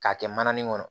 K'a kɛ mananin kɔnɔ